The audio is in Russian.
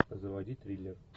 заводи триллер